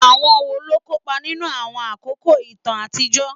Àwọn wo ló kópa nínú àwọn àkókò ìtàn àtijọ́?